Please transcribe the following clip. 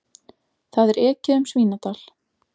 Það er ekið um Svínadal.